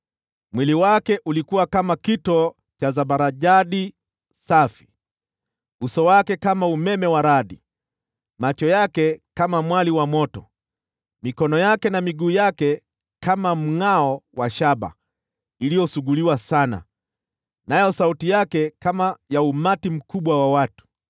Mwili wake ulikuwa kama kito cha zabarajadi safi, uso wake kama umeme wa radi, macho yake kama mwali wa moto, mikono yake na miguu yake kama mngʼao wa shaba iliyosuguliwa sana, nayo sauti yake kama ya umati mkubwa wa watu.